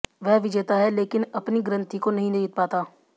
वह विजेता है लेकिन अपनी ग्रंथि को नहीं जीत पाता